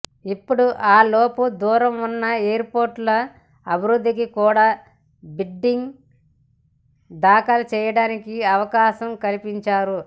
ఇప్పుడు ఆ లోపు దూరం ఉన్న ఎయిర్పోర్టుల అభివృద్ధికి కూడా బిడ్డింగ్ దాఖలు చేయడానికి అవకాశం కల్పిం చారు